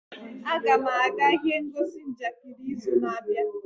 Aga m aga ihe ngosi njakịrị n'izu na-abịa.